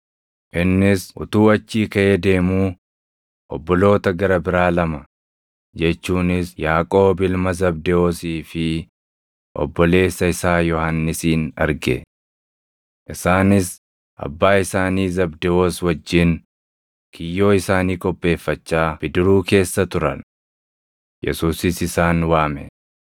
Innis utuu achii kaʼee deemuu obboloota gara biraa lama jechuunis Yaaqoob ilma Zabdewoosii fi obboleessa isaa Yohannisin arge. Isaanis abbaa isaanii Zabdewoos wajjin kiyyoo isaanii qopheeffachaa bidiruu keessa turan. Yesuusis isaan waame;